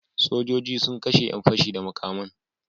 Sojoji sun kashe yan pashe da makaman